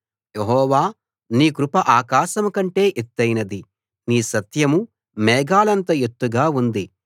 యెహోవా నీ కృప ఆకాశం కంటే ఎత్తయినది నీ సత్యం మేఘాలంత ఎత్తుగా ఉంది